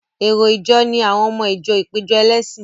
Èrò ìjọ ni àwọn ọmọ ìjọ ìpéjọ ẹlẹ́sìn.